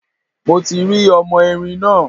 Mo ti rí ọmọ erin náà.